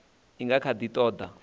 i nga kha ḓi ṱoḓa